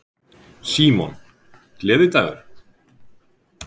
Símon: Gleðidagur?